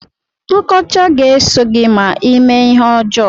Nkọcha ga-eso gị ma ime ihe ọjọọ.